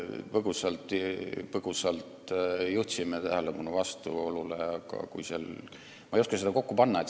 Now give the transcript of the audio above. Me põgusalt juhtisime vastuolule tähelepanu, aga ma ei oska seda asja kokku panna.